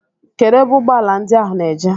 Kedụ ebe ụgbọala ndị ahụ na-eje?